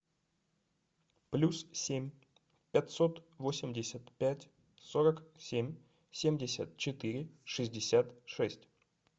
плюс семь пятьсот восемьдесят пять сорок семь семьдесят четыре шестьдесят шесть